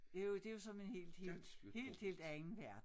Det jo det jo som en helt helt helt helt anden verden